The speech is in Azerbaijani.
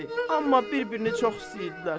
Amma bir-birini çox istəyirdilər.